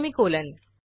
semicolon